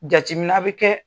Jatimina bɛ kɛ